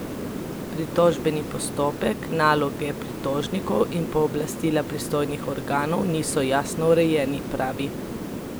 Pritožbeni postopek, naloge pritožnikov in pooblastila pristojnih organov niso jasno urejeni, pravi.